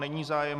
Není zájem.